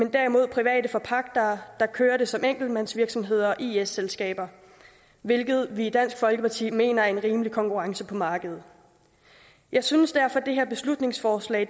er derimod private forpagtere der kører det som enkeltmandsvirksomheder og is selskaber hvilket vi i dansk folkeparti mener sikrer en rimelig konkurrence på markedet jeg synes derfor at det her beslutningsforslag